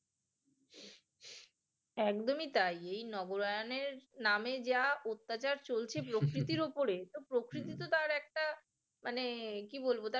একদমই তাই এই নবরায়নের নামে যা অত্যাচার চলছে প্রকৃতির উপরে প্রকৃতি তো তার একটা মানে কি বলবো তার